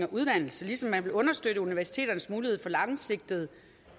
og uddannelse ligesom man vil understøtte universiteternes mulighed for langsigtede